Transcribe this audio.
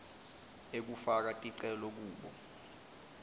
ekufaka ticelo kubo